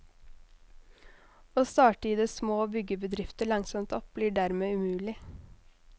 Å starte i det små og bygge bedrifter langsomt opp, blir dermed umulig.